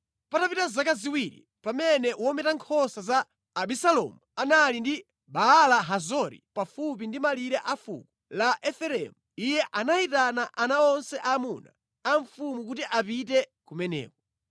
Patapita zaka ziwiri, pamene wometa nkhosa za Abisalomu anali ku Baala-Hazori pafupi ndi malire a fuko la Efereimu, iye anayitana ana onse aamuna a mfumu kuti apite kumeneko.